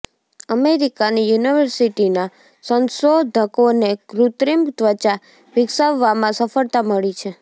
અમેરિકાની યુનિવર્સિટીના સંશોધકોને કૃત્રિમ ત્વચા વિકસાવવામાં સફળતા મળી છે